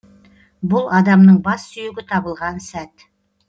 бұл адамның бас сүйегі табылған сәт